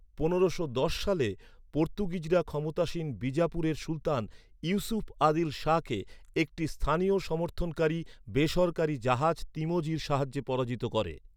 পনেরোশো দশ সালে, পর্তুগিজরা ক্ষমতাসীন বিজাপুরের সুলতান ইউসুফ আদিল শাহকে একটি স্থানীয় সমর্থনকারী, বেসরকারী জাহাজ তিমোজির সাহায্যে পরাজিত করে।